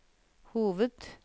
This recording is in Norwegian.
hoved